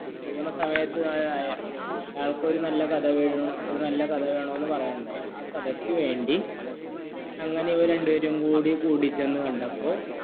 ആയാളുകൂ നല്ലൊരു കഥ വേണുമമെന്ന് പറയുകയാഉണ്ടായി ആ കഥയിക്കുവേണ്ടി അങ്ങനെ ഇവർ രണ്ടുപേരും കൂടി കൂടി ചെന്ന് കണ്ടപ്പോൾ